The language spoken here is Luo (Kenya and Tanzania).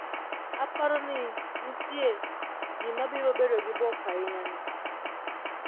Aparo ni nitie ji ma biro bedo gi bwok ahinya ni